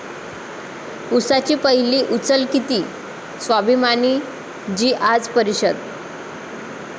उसाची पहिली उचल किती? 'स्वाभिमानी'ची आज परिषद